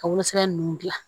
Ka wolosɛbɛn ninnu dilan